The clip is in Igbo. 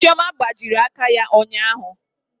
Chioma gbajiri aka ya ụnyaahụ.